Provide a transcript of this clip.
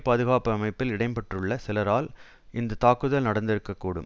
பாதுகாப்பு அமைப்பில் இடம் பெற்றுள்ள சிலரால் இந்த தாக்குதல் நடத்திருக்ககூடும்